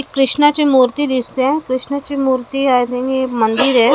कृष्णाची मुर्ती दिसतेय कृष्णाची मुर्ती आणि हे मंदिर ए .]